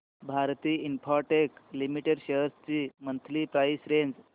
Bharti Infratel Limited shares ची monthly price range